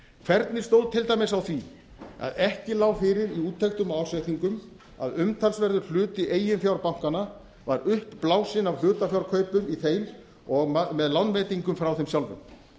hvernig stóð til dæmis á því að ekki lá fyrir í úttektum og ársreikningum að umtalsverður hlutu eiginfjár bankanna var uppblásinn af hlutafjárkaupum í þeim og með lánveitingum frá þeim sjálfum